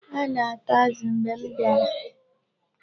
Ha na-ata azụ mgbe m bịara.